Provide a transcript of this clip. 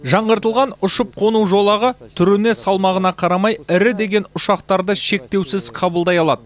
жаңғыртылған ұшып қону жолағы түріне салмағына қарамай ірі деген ұшақтарды шектеусіз қабылдай алады